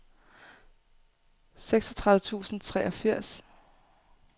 seksogtredive tusind og treogfirs